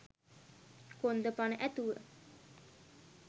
කොන්ද පණ ඇතුව